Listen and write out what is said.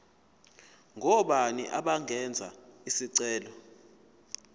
ngobani abangenza isicelo